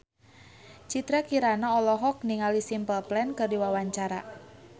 Citra Kirana olohok ningali Simple Plan keur diwawancara